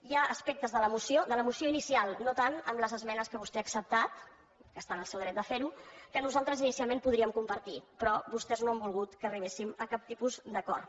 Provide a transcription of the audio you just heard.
hi ha aspectes de la moció de la moció inicial no tant amb les esmenes que vostè ha acceptat que està en el seu dret de fer ho que nosaltres inicialment podríem compartir però vostès no han volgut que arribéssim a cap tipus d’acord